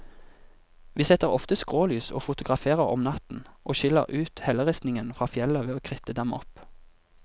Vi setter ofte skrålys og fotograferer om natten, og skiller ut helleristningen fra fjellet ved å kritte dem opp.